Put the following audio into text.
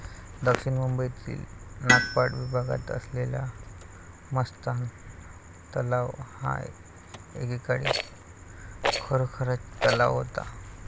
दक्षिण मुंबईतील नागपाडा विभागात असलेला मस्तान तलाव हा एकेकाळी खरोखरच तलाव होता.